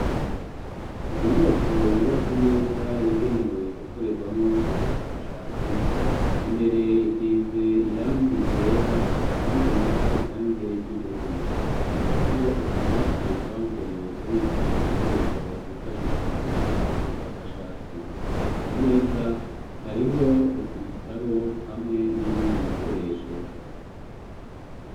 Mu nyubako yubatse neza yagenewe gukorerwamwo ubushakashatsi, imbere isize irangi ryera ahandi naho irangi ry'ubururu, hariho utubati twabugenewe kubika ibikoresho bifashisha mu gukora ubushakashatsi, ku meza hariho ibitabo hamwe n'ibindi bikoresho.